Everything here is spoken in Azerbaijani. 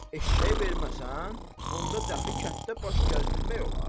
Eşşəyi verməsən, onda dəxi kənddə baş gəzdirmək olar?